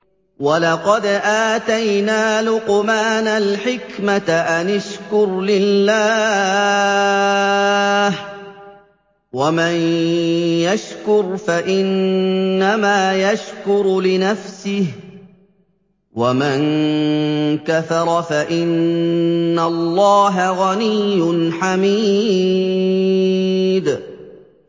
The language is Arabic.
وَلَقَدْ آتَيْنَا لُقْمَانَ الْحِكْمَةَ أَنِ اشْكُرْ لِلَّهِ ۚ وَمَن يَشْكُرْ فَإِنَّمَا يَشْكُرُ لِنَفْسِهِ ۖ وَمَن كَفَرَ فَإِنَّ اللَّهَ غَنِيٌّ حَمِيدٌ